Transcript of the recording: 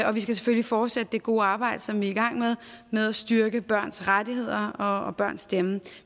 og vi skal selvfølgelig fortsætte det gode arbejde som vi er i gang med med at styrke børns rettigheder og børns stemme